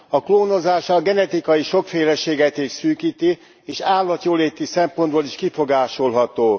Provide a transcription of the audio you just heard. A klónozás a genetikai sokféleséget is szűkíti és állatjóléti szempontból is kifogásolható.